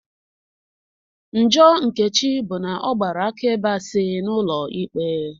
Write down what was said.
Njọ Nkechi bụ n'ọgbara akaebe asị n'ụlọ ikpe